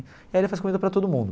E aí ele faz comida para todo mundo.